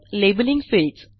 labelling fields